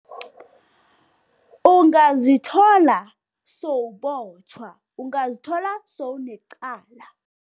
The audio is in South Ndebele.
Ungazithola sowubotjhwa, ungazithola sowunecala.